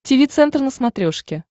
тиви центр на смотрешке